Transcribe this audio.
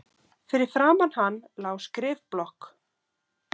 Fyrir framan hann lá skrifblokk.